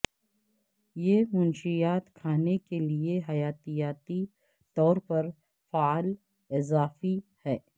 یہ منشیات کھانے کے لئے حیاتیاتی طور پر فعال اضافی ہے